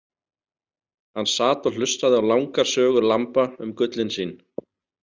Hann sat og hlustaði á langar sögur Lamba um gullin sín.